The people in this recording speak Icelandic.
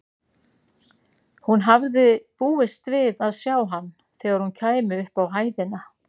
Hún hafði búist við að sjá hann þegar hún kæmi upp á hæðina.